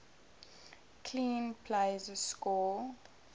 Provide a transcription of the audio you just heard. clean plays score